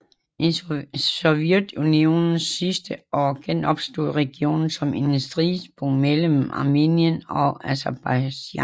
I Sovjetunionens sidste år genopstod regionen som et stridspunkt mellem Armenien og Aserbajdsjan